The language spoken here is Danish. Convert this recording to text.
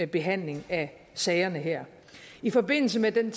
behandling af sagerne her i forbindelse med at den